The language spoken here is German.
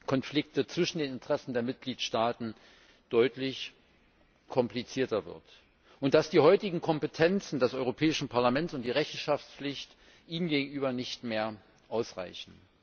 Konflikte zwischen den Interessen der Mitgliedstaaten deutlich komplizierter wird und dass die heutigen Kompetenzen des Europäischen Parlaments und die Rechenschaftspflicht ihm gegenüber nicht mehr ausreichen.